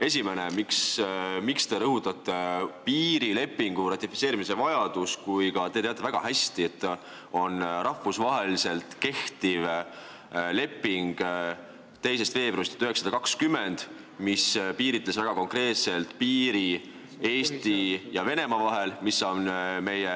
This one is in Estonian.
Esimene, miks te rõhutate piirilepingu ratifitseerimise vajadust, kui te teate väga hästi, et on rahvusvaheliselt kehtiv leping 2. veebruarist 1920, mis piiritleb väga konkreetselt piiri Eesti ja Venemaa vahel, mis on meie